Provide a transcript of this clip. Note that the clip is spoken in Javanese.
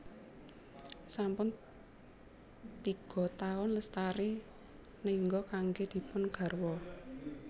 Sampun tiga taun Lestari nengga kanggé dipun garwa